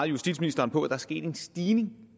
justitsministeren på at der er sket en stigning